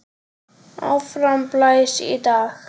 Áfram blæs í dag.